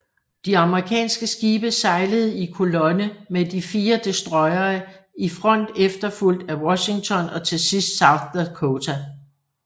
De amerikanske skibe sejlede i kolonne med de fire destroyere i front efterfulgt af Washington og til sidst South Dakota